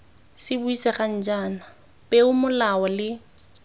se buisegang jaana peomolao le